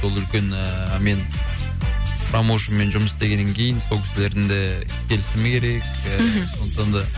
ол үлкен ыыы мен промоушнмен жұмыс істегеннен кейін сол кісілердің де келісімі керек ііі сондықтан да